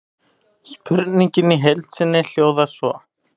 Spurningin í heild sinni hljóðar svo: